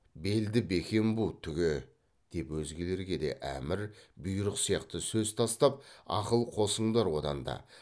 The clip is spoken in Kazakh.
белді бекем бу түге деп өзгелерге де әмір бұйрық сияқты сөз тастап ақыл қосыңдар одан да